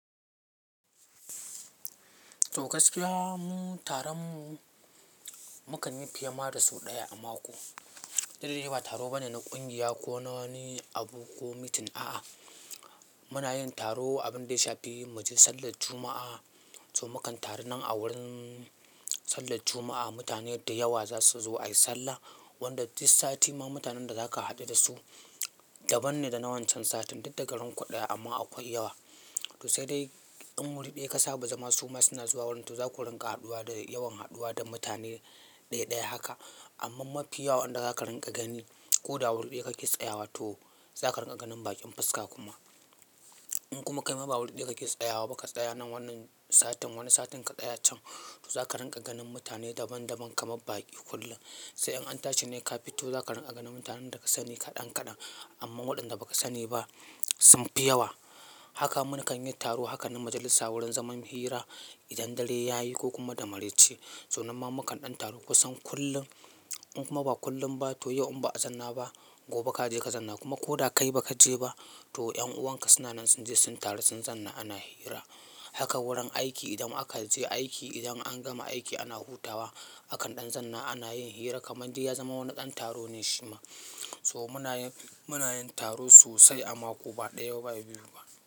To gaskiya mu taron mu mukan yi fiye ma da sau ɗaya a mako. Dalili ba taro bane na ƙungiya ko nawa ni abu ko meeting a'a. Muna yin taro abin da ya fi yi mu je sallar Juma'a. To mukan taru nan a wurin sallar Juma'a. Mutane da yawa za su zo ayi sallah. Wanda duk sati ma mutanen da zaka haɗu da su daban ne da na wancan satin. Duk daga runku ɗaya amma akwai yawa. To sai dai in wurin ɗaya ka saba zama su ma suna zuwa wurin, to za ku rinƙa haɗuwa da yawan haɗuwa da mutane ɗaya ɗaya haka. Amma mafi yawan da za ka rinƙa gani ko da wurin ɗaya kake tsayawa to za ka rinƙa ganin baƙin fuska kuma. In kuma kai ma ba wurin ɗaya kake tsayawa ba ka tsaya nan wannan satin, wannan satin ka tsaya can to za ka rinƙa ganin mutane daban daban kamar baƙi kullum. Sai in an tashi ne ka fito za ka rinƙa ganin mutanen da ka sani kaɗan kaɗan. Amma waɗanda ba ka sani ba sun fi yawa. Haka mu kan yi taro. Haka nan majalisa wurin zaman hira idan dare yayi ko kuma da maraice. To naman mukan ɗan taur kusan kullum. In kuma ba kullum ba to yau ba a zanna ba gobe ka je ka zanna kuma ko da kai ba ka je ba to ƴan'uwanka suna nan sun je sun taru sun zanna ana hira. Haka wurin aiki idan aka je aiki idan an gama aiki ana hutawa akan ɗan zanna ana yin hira kamar shima ya zama wani ɗan taro ne shi ma. To muna yin, muna yin taro sosai a mako ba ɗaya ba ba biyu ba.